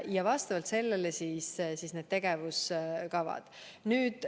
Ja vastavalt sellele tulevad tegevuskavad.